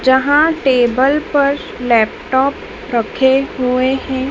जहां टेबल पर लैपटॉप रखे हुए हैं।